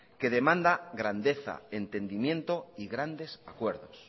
que demanda grandeza entendimiento y grandes acuerdos